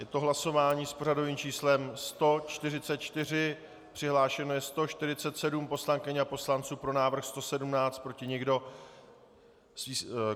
Je to hlasování s pořadovým číslem 144, přihlášeno je 147 poslankyň a poslanců, pro návrh 117, proti nikdo.